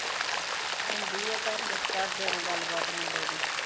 ਹੁੰਦੀ ਆ ਘਰ ਵਿਚ ਘਰਦਿਆਂ ਦੇ ਨਾਲ ਗਲਬਾਤ ਮੁੰਡੇ ਦੀ